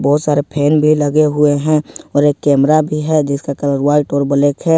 बहुत सारे फेन भी लगे हुए हैं और एक कैमरा भी है जिसका कलर व्हाइट और ब्लैक है।